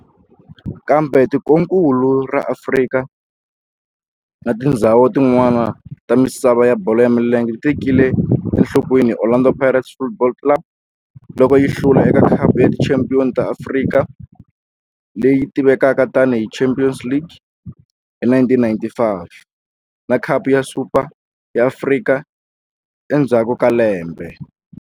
Kambe tikonkulu ra Afrika na tindzhawu tin'wana ta misava ya bolo ya milenge ti tekele enhlokweni Orlando Pirates Football Club loko yi hlula eka Khapu ya Tichampion ta Afrika, leyi tivekaka tani hi Champions League, hi 1995 na Khapu ya Super ya Afrika endzhaku ka lembe.